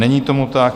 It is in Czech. Není tomu tak.